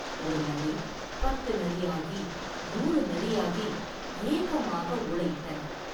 ஒரு நரி, பத்து நரியாகி, நூறு நரியாகி, ஏகமாக ஊளையிட்டன!